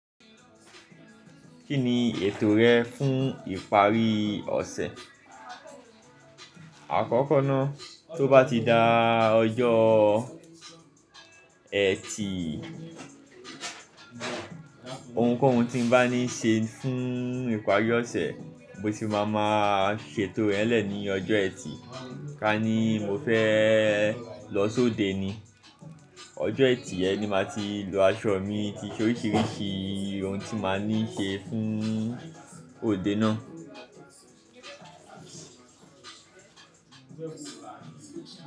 Kí ni ètò rẹ fún ìparí ọ̀sẹ̀? Àkọ́kọ́ ná, tó bá ti da ọjọ́ ẹtì, ohunkóhun tí n bá ní ṣe fún ìparí ọ̀sẹ̀, mo sì máa máa ṣètò rẹ̀ lẹ̀ ní ọjọ́ ẹtì. Ka ní mo fẹ lọ sóde ni, ọjọ́ ẹtì yẹn ni màá ti lo aṣọ mi ti oríṣiríṣi ohun tí màá ní ṣe fún òde náà.